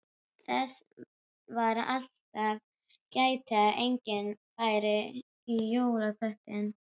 Þess var alltaf gætt að enginn færi í jólaköttinn.